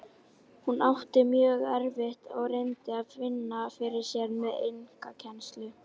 Hún átti mjög erfitt og reyndi að vinna fyrir sér með einkakennslu.